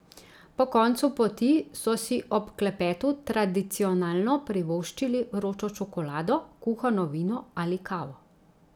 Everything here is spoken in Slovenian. Po koncu poti so si ob klepetu tradicionalno privoščili vročo čokolado, kuhano vino ali kavo.